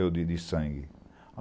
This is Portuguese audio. Eu de de sangue.